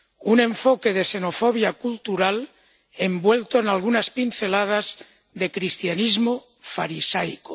Un enfoque de xenofobia cultural envuelto en algunas pinceladas de cristianismo farisaico.